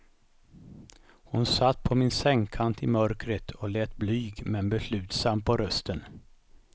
Hon satt på min sängkant i mörkret och lät blyg men beslutsam på rösten.